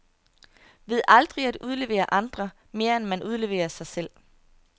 Ved aldrig at udlevere andre, mere end man udleverer sig selv.